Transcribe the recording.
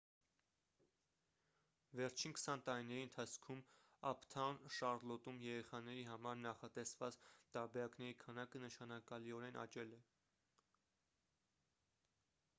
վերջին 20 տարիների ընթացքում «ափթաուն շառլոտ»-ում երեխաների համար նախատեսված տարբերակների քանակը նշանակալիորեն աճել է: